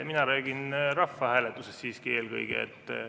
Mina räägin siiski eelkõige rahvahääletusest.